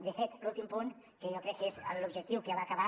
de fet l’últim punt que jo crec que és l’objectiu que va acabar